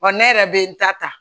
Wa ne yɛrɛ bɛ n ta ta